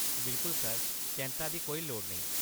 बिल्कुल सर, चैंत्ता दी कोई लोड़ नेईं।